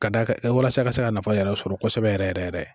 Ka d'a kan walasa i ka se ka nafa yɛrɛ sɔrɔ kosɛbɛ yɛrɛ yɛrɛ yɛrɛ